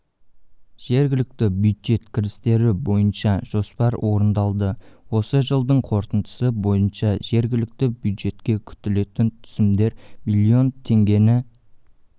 жергілікті бюджет кірістері бойынша жоспар орындалды осы жылдың қорытындысы бойынша жергілікті бюджетке күтілетін түсімдер миллион теңгені